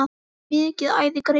Mikið æði greip um sig.